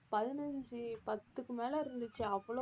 பதினைந்து பத்துக்கு மேல இருந்துச்சு அவ்வளவு